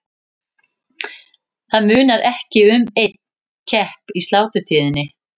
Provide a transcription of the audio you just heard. Það munar ekki um einn kepp í sláturtíðinni.